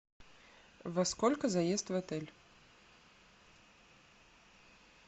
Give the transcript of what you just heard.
во сколько заезд в отель